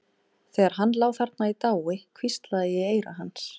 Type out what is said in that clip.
Þegar hann lá þarna í dái hvíslaði ég í eyra hans.